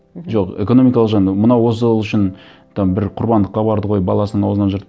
мхм жоқ экономикалық мынау осы ол үшін там бір құрбандыққа барды ғой баласының ауызынан жыртып